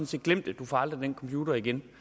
set glem det du får aldrig den computer igen